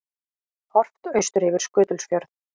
Horft austur yfir Skutulsfjörð.